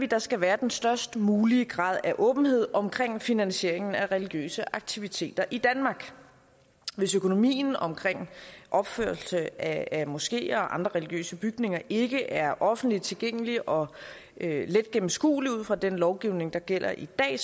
der skal være den størst mulige grad af åbenhed omkring finansieringen af religiøse aktiviteter i danmark hvis økonomien omkring opførelse af moskeer og andre religiøse bygninger ikke er offentlig tilgængelig og let gennemskuelig ud fra den lovgivning der gælder i dag